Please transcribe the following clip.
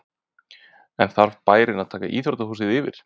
En þarf bærinn að taka íþróttahúsið yfir?